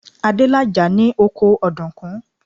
Adélàjà ní oko ọ̀dùnkún.